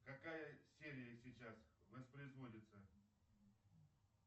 какая серия сейчас воспроизводится